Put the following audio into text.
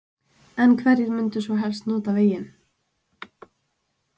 En hverjir munu svo helst nota veginn?